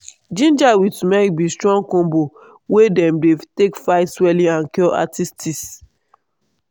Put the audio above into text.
ginger with turmeric be strong combo wey dem dey take fight swelling and cure arthritis.